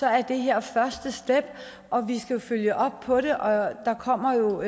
er det her første step og vi skal jo følge op på det og der kommer jo